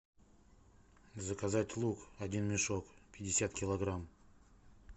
заказать лук один мешок пятьдесят килограмм